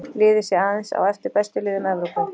Liðið sé aðeins á eftir bestu liðum Evrópu.